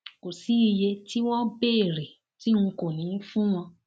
kò sí iye tí wọn béèrè tí n kò ní í fún wọn